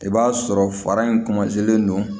I b'a sɔrɔ fara in don